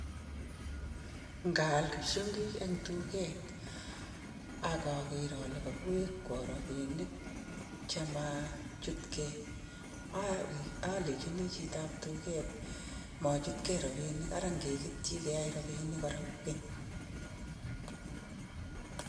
Ngaal psyongik eng duket atya kiwekwo robinik chemachutkei alechini machutkei robinik ngeyai robinik komyee